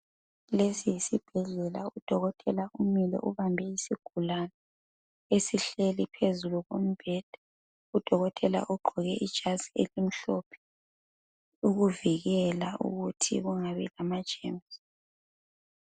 Lesi yisibhedlela udolotela umile ubambe isigulani esihleli phezulu kombheda, udolotela ugqoke ijazi elimhlophe ukuvikela ukuthi kungabi lama gemusi.